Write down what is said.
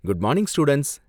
Good morning students.